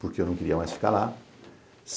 Porque eu não queria mais ficar lá.